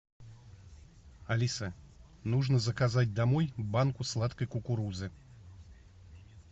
алиса нужно заказать домой банку сладкой кукурузы